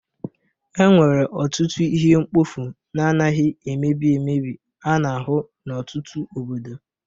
Enwere ọtụtụ ihe mkpofu na-anaghị emebi emebi a na-ahụ n'ọtụtụ obodo